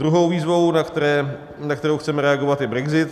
Druhou výzvou, na kterou chceme reagovat, je brexit.